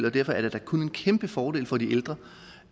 og derfor er det da kun en kæmpe fordel for de ældre